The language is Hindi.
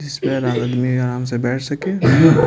जिसमें आराम से बैठ सके।